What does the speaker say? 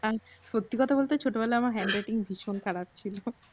হ্যা। সত্যি কথা বলতে ছোটবেলায় আমার hand writing ভীষণ খারাপ ছিল।